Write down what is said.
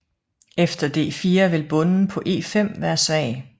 Efter d4 vil bonden på e5 være svag